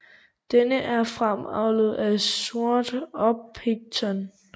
Den er fremavlet af sort orpington